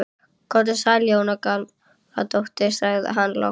Komdu sæl Jóra Gamladóttir sagði hann loks.